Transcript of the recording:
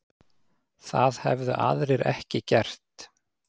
Það hefðu aðrir ekki gert